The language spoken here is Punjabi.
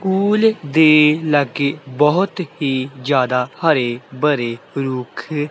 ਪੂਲ ਦੇ ਲਾਗੇ ਬਹੁਤ ਹੀ ਜਿਆਦਾ ਹਰੇ ਭਰੇ ਰੁੱਖ--